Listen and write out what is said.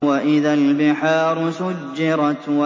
وَإِذَا الْبِحَارُ سُجِّرَتْ